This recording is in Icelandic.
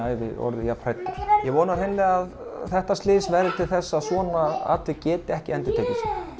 orðið jafnhræddur ég vona að að þetta slys verði til þess að svona atvik geti ekki endurtekið